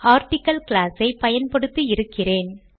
article class ஐ பயன்படுத்தி இருக்கிறேன்